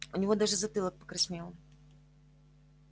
у него даже затылок покраснел